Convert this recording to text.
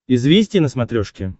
известия на смотрешке